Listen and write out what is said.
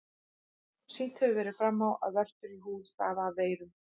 Sýnt hefur verið fram á, að vörtur í húð stafa af veirum.